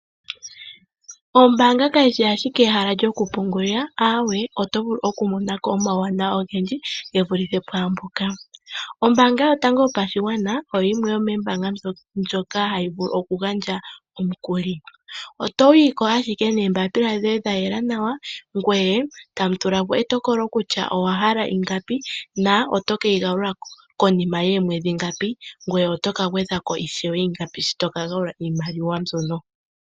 Ombaanga kayishi ashike ehala lyoku pungulila aawe otovulu oku monako omawuwanawa ogendji gevuluthe pwaangoka . Ombaanga yotango yopashigwana oyo yimwe yomoombanga ndjoka hayi vulu okugandja omukuli . Otoyiko ashike noombapila dhoye dhayela nawa ngoye tamu tulapo etokolo kutya owahala ingapi na otokeyi galula konima yoomwedhi ngapi ngoye oto kagwedhako ingapi sho toka galula iimaliwa mbyono